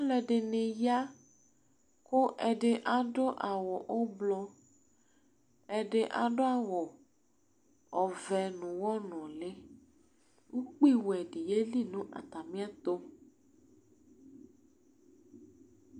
alɛdɩnɩ ya kʊ ɛdɩ adʊ awʊ ʊblʊ ɛdɩ adʊ awʊ ɔvɛ n'ʊwɔ nʊlɩ ukpi wɛ dɩ yeli nʊ atamɩ'ɛtʊ